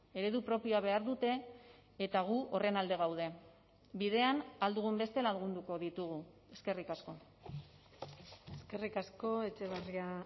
eredu propioa behar dute eta gu horren alde gaude bidean ahal dugun beste lagunduko ditugu eskerrik asko eskerrik asko etxebarria